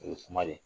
O ye kuma de ye